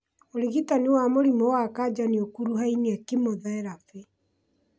ũrigitani wa mũrimũ wa kanja noũkuruhanie kĩmotherapĩ